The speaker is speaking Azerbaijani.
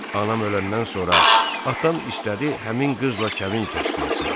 Anam öləndən sonra atam istədi həmin qızla kəbin kəsdirsin.